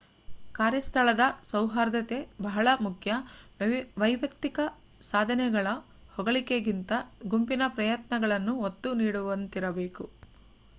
ಕಾರ್ಯಸ್ಥಳದ ಸೌಹಾರ್ದತೆ ಬಹಳ ಮುಖ್ಯ ವೈಯುಕ್ತಿಕ ಸಾಧನೆಗಳ ಹೊಗಳಿಕೆಗಿಂತ ಗುಂಪಿನ ಪ್ರಯತ್ನಗಳನ್ನು ಒತ್ತು ನೀಡುವಂತಿರಬೇಕು